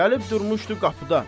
Gəlib durmuşdu qapıda.